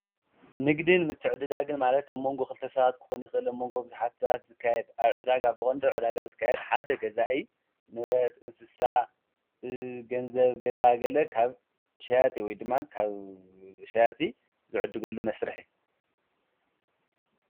ንግድን ምትዕድዳግን ማለት ኣብ መንጎ ኽልተ ሳባት ክኾን ይኽሊ መንጎ ኣብ ዝሓትት ዝካየድ ኣብ ዕዳግ ኣ ብቖንድ ዕዳጋ ዝካየድ ሓደ ገዛኢይ ንብረት እንስሳ ገንዘብ ገዛገለ ካብ ሸያጢ ወይ ድማ ካብ ሸያጢ ዘዕድገሉ መስርሐ እዩ።